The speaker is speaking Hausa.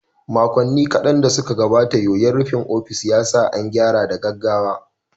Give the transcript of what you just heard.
Makonni kaɗan da suka gabata, yoyon rufin ofis ya sa an gyara da gaggawa.